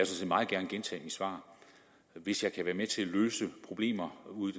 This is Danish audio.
set meget gerne gentage mit svar hvis jeg kan være med til at løse problemer ude